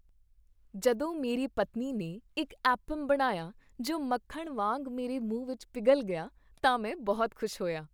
ਜਦੋਂ ਮੇਰੀ ਪਤਨੀ ਨੇ ਇੱਕ ਐਪਮ ਬਣਾਇਆ ਜੋ ਮੱਖਣ ਵਾਂਗ ਮੇਰੇ ਮੂੰਹ ਵਿੱਚ ਪਿਘਲ ਗਿਆ ਤਾਂ ਮੈਂ ਬਹੁਤ ਖੁਸ਼ ਹੋਇਆ।